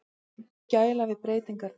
Gæla við breytingarnar.